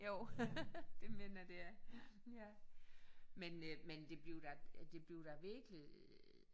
Jo det mener jeg det er ja. Men øh men det bliver da det bliver da virkelig